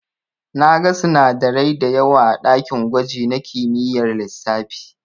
Na gan sinadarai dayawa a dakin gwaji na kimiyyar lissafi.